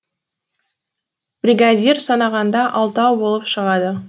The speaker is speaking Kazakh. бригадир санағанда алтау болып шығады